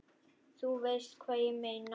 þú veist hvað ég meina.